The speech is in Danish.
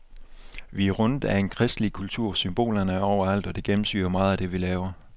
Vi er rundet af en kristelig kultur, symbolerne er overalt og det gennemsyrer meget af det, vi laver.